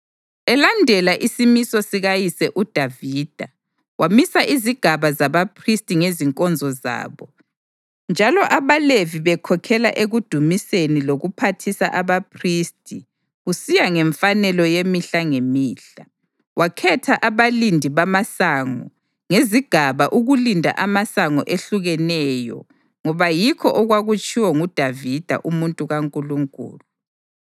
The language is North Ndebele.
Elandela isimiso sikayise uDavida wamisa izigaba zabaphristi ngezinkonzo zabo, njalo abaLevi bekhokhela ekudumiseni lokuphathisa abaphristi kusiya ngemfanelo yemihla ngemihla. Wakhetha abalindi bamasango ngezigaba ukulinda amasango ehlukeneyo ngoba yikho okwakutshiwo nguDavida umuntu kaNkulunkulu.